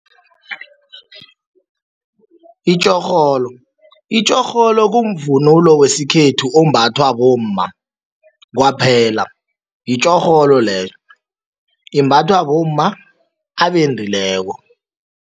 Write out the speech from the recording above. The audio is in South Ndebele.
Itjorholo, itjorholo kumvumunulo wesikhethu ombathwa bomma kwaphela, yitjorholo leyo. Imbathwa bomma abendileko.